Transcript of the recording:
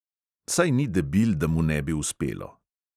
Saj ni debil, da mu ne bi uspelo.